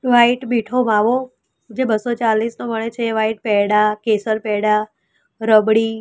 white મીઠો માવો જે બસો ચાલીસ નો મળે છે એ વાઈટ પેડા કેસર પેડા રબડી --